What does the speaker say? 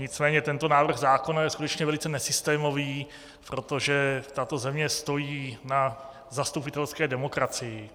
Nicméně tento návrh zákona je skutečně velice nesystémový, protože tato země stojí na zastupitelské demokracii.